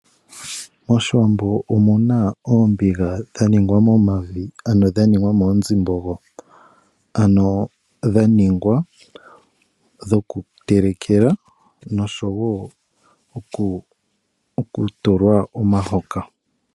Moshiwambo omuna oombiga dhaningwa momavi ano dhaningwa moonzimbogo ano dhaningwa dho kutelekela noshowo okutulwa omahoka .